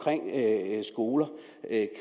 skoler